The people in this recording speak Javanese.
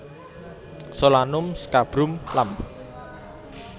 Solanum scabrum Lam